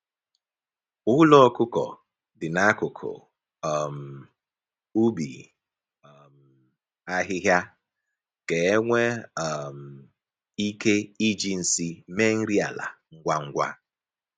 Ụlọ ọkụkọ dị n'akụkụ um ubi um ahịhịa ka e nwee um ike iji nsị mee nri ala ngwa ngwa.